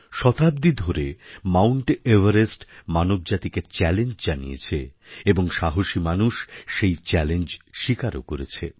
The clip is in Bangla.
শতাব্দী ধরে মাউণ্ট এভারেস্ট মানবজাতিকে চ্যালেঞ্জ জানিয়েছে এবং সাহসী মানুষ সেই চ্যালেঞ্জ স্বীকারও করেছে